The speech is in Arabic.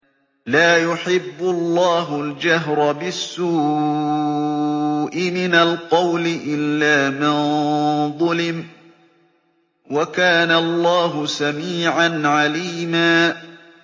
۞ لَّا يُحِبُّ اللَّهُ الْجَهْرَ بِالسُّوءِ مِنَ الْقَوْلِ إِلَّا مَن ظُلِمَ ۚ وَكَانَ اللَّهُ سَمِيعًا عَلِيمًا